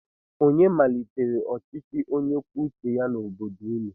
Onye malitere ọchịchị onye kwuo uche ya n'obodo ụnụ?